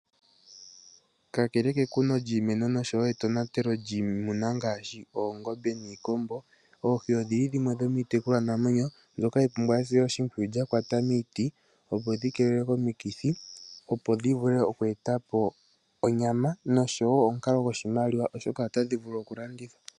Kakele kekuno lyiimeno oshowoo metonatelo lyiimuna ngaashi oongombe niikombo, oohi odhili dhimwe dhomiinamwenyo mbyoka hayi pumbwa etekulo lyakwata miiti , opo dhikeelelwe komikithi, opo dhivule okweetapo onyama noshowoo omukalo goshimaliwa, oshoka otadhi vulu okulandithwa.